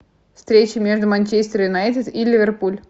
встреча между манчестер юнайтед и ливерпуль